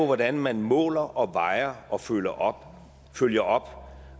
hvordan man måler og vejer og følger op følger op